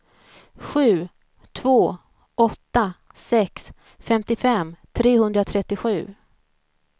sju två åtta sex femtiofem trehundratrettiosju